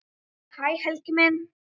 Hæ Helgi minn.